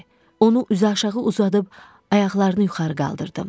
Onu üzüaşağı uzadıb ayaqlarını yuxarı qaldırdım.